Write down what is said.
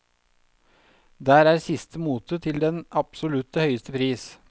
Der er siste mote til den absolutte høyeste pris.